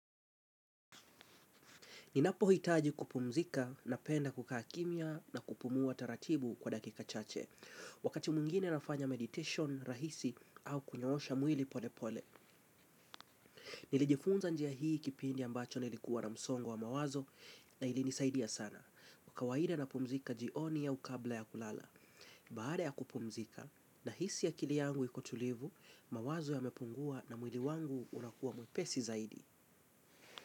Ninapo hitaji kupumzika napenda kukakimia na kupumuwa taratibu kwa dakika chache. Wakati muingine nafanya meditation rahisi au kunyoosha mwili pole pole. Nilijifunza njiya hii kipindi ambacho nilikuwa na msongo wa mawazo na ilinisaidia sana. Kawaida na pumzika jioni au kabla ya kulala. Baada ya kupumzika nahisi akili yangu ikotulivu, mawazo yamepungua na mwili wangu unakuwa mwepesi zaidi.